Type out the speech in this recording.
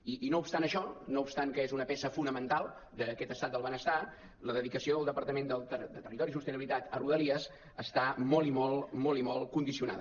i no obstant això no obstant que és una peça fonamental d’aquest estat del benestar la dedicació del departament de territori i sostenibilitat a rodalies està molt i molt molt i molt condicionada